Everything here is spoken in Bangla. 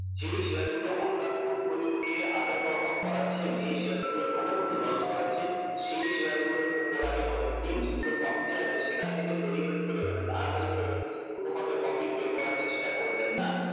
যেই শেয়ারগুলোকে আপনার portfolio কে under perform করাচ্ছে যে শেয়ার গুলো ভালোমতো loss করাচ্ছে সেই শেয়ার গুলোর ওপর আগে নজর দিন যেগুলো profit এ আছে সেখান থেকে তড়িঘড়ি করে মানে তাড়াতাড়ি করে কোন মতে profit বের করার চেষ্টা করবে না